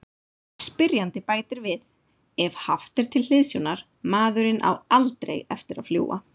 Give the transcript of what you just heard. Spyrjandi bætir við: Ef haft er til hliðsjónar:.maðurinn á ALDREI eftir að fljúga.